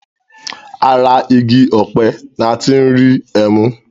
Ara igi ọ̀pẹ ní a tí n rí ẹmu.